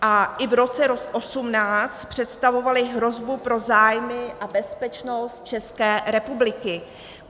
A i v roce 2018 představovaly hrozbu pro zájmy a bezpečnost České republiky.